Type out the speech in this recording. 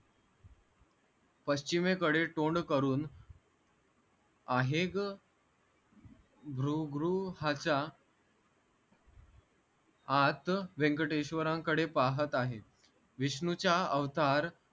पश्चिमेकडे तोंड करून आहेग भृगृहाचा हात व्यंकटेश्वरांकडे पाहत आहे विष्णूचा अवतार